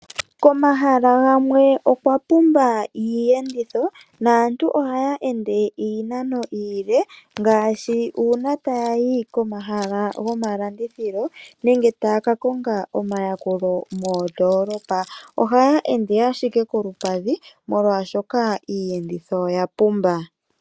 Komahala gamwe okwa pumba iiyenditho naantu yamwe ohaya ende iinano iile ngaashi uuna taya yi komahala gomalandithilo nenge taya ka konga omayakulo moondolopa ohaya ende ashike kolupadhi molwaashoka iiyenditho oya pumba.